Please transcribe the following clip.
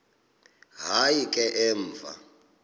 hayi ke emva